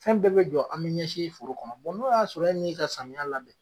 Fɛn bɛɛ be jɔ ami ɲɛsin foro kɔnɔ bɔn n'o y'a sɔrɔ e m'i ka samiya labɛn